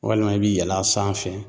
Walima i bi yɛlɛ a sanfɛ